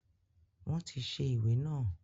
Wọn tí ṣe ìwé naa